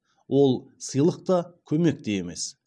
ол сыйлық та көмек те емес